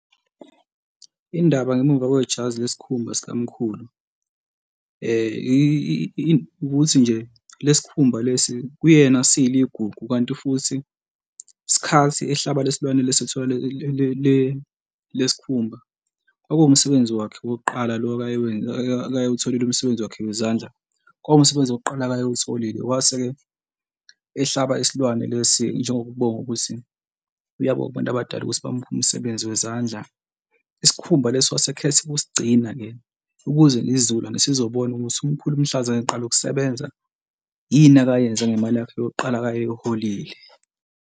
Indaba ngemuva kwejazi lesikhumba sikamkhulu ukuthi nje lesi khumba lesi kuyena siyiligugu kanti futhi isikhathi ehlaba le silwane lesi ekuthiwa lesi khumba kwakuwumsebenzi wakhe owokuqala lo akayewutholile umsebenzi wakhe wezandla, kwaba umsebenzi wokuqala akayewutholile kwase-ke ehlaba isilwane lesi njengokubonga ukuthi uyabonga kubantu abadala ukuthi bamuphe umsebenzi wezandla, isikhumba leso wase esekhetha ukusigcina-ke ukuze nesizukulwane, sizobona ukuthi umkhulu mhlazane eqala ukusebenza yini, akayenze ngemali yakhe yokuqala akayeyiholile.